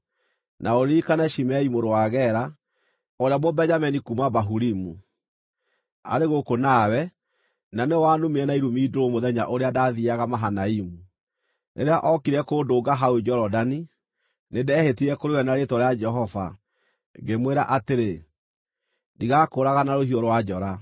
“Na ũririkane Shimei mũrũ wa Gera, ũrĩa Mũbenjamini kuuma Bahurimu, arĩ gũkũ nawe, na nĩwe wanumire na irumi ndũrũ mũthenya ũrĩa ndaathiiaga Mahanaimu. Rĩrĩa ookire kũndũnga hau Jorodani, nĩndehĩtire kũrĩ we na rĩĩtwa rĩa Jehova, ngĩmwĩra atĩrĩ, ‘Ndigakũũraga na rũhiũ rwa njora.’